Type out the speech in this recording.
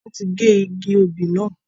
Wọn tí gé igi òbí náà.